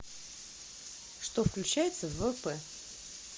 что включается в ввп